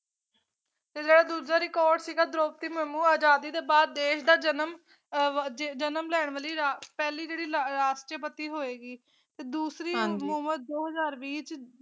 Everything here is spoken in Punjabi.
ਤੇ ਜੇੜਾ ਦੂਜਾ ਰਿਕੋਰਡ ਸੀਗਾ ਦ੍ਰੋਪਦੀ ਮੁਰਮੁ ਅਜਾਦੀ ਦੇ ਬਾਅਦ ਦੇਸ਼ ਦਾ ਜਨਮ ਆਹ ਜਜ ਜਨਮ ਲੈਣ ਵਾਲੀ ਰਾ ਪਹਿਲੀ ਜੇਹੜੀ ਰਾਸ਼ਟਰਪਤੀ ਹੋਏਗੀ ਤੇ ਦੂਸਰੀ ਹਾਂਜੀ ਮੁਮੁ ਦੋ ਹਜ਼ਾਰ ਵੀਹ ਚ।